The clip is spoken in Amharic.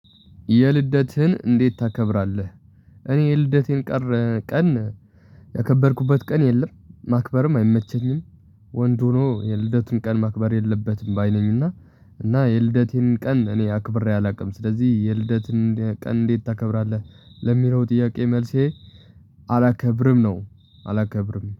የልደትህን እንዴት ታከብራለህ? እኔ የልደቴን ቀረ ቀን ያከበርኩበት ቀን የለም ማክበርም አይመቸኝም። ወንድ ሆኖ የልደትን ቀን ማክበር የለበትም ባይ ነኝና። እና የልደቴን ቀን እኔ አክብሬ አላውቅም። ስለዚህ የልደትን ቀን እንዴት ታከብራለህ? ለሚለው ጥያቄ መልሴ አላከብርም ነው። አላከብርም